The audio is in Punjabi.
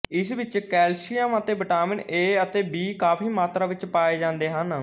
ਇਸ ਵਿੱਚ ਕੈਲਸਿਅਮ ਅਤੇ ਵਿਟਾਮਿਨ ਏ ਅਤੇ ਬੀ ਕਾਫ਼ੀ ਮਾਤਰਾ ਵਿੱਚ ਪਾਏ ਜਾਂਦੇ ਹਨ